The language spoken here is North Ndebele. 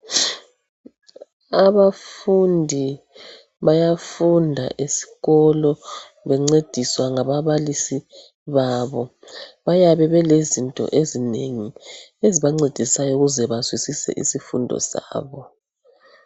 Abafundi bayafunda esikolo bencediswa ngaba balisi babo. Bayabe belezinto ezinengi ezibancedisayo ukuze bazwisise izifundo zabo